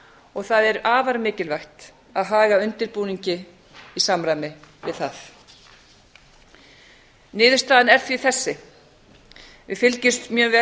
og það er afar mikilvægt að haga undirbúningi í samræmi viðað niðurstaðan er því þessi við fylgjumst mjög vel